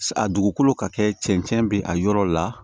A dugukolo ka kɛ cɛncɛn bɛ a yɔrɔ la